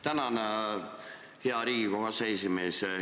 Tänan, hea Riigikogu aseesimees!